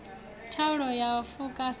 thaula ya u fuka sa